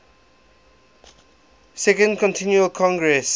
second continental congress